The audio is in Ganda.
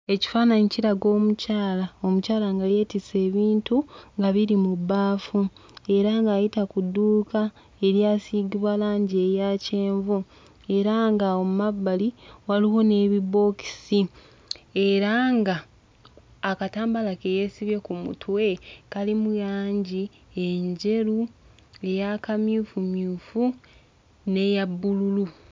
Ekifaannyi kiraga omukyala, omukyala nga yeetisse ebintu nga biri mu bbaafu era ng'ayita ku dduuka eryasiigibwa langi eya kyenvu era nga awo mu mabbali waliwo n'ebibookisi era ng'akatambaala ke yeesibye ku mutwe kalimu langi enjeru, ey'akamyufumyufu n'eya bbululu.